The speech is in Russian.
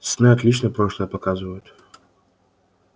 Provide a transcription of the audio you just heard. сны отлично прошлое показывают